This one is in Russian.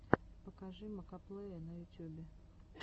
покажи макоплэя на ютюбе